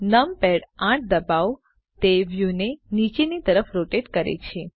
numpad 8 ડબાઓ તે વ્યુંને નીચેની તરફ રોટેટ કરે છે